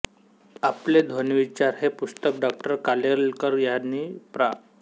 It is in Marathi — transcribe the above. आपले ध्वनिविचार हे पुस्तक डॉ कालेलकर ह्यांनी प्रा